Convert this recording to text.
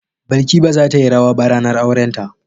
Balki ba za ta yi rawa ba ranar aurenta.